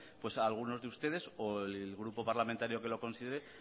algunos de ustedes o el grupo parlamentario que lo considere